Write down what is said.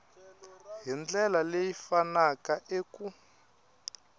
hi ndlela leyi pfunaka eku